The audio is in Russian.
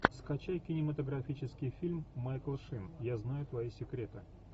скачай кинематографический фильм майкл шин я знаю твои секреты